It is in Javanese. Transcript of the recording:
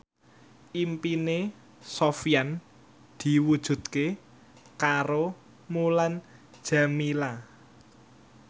impine Sofyan diwujudke karo Mulan Jameela